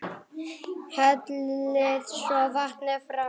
Hellið svo vatninu frá.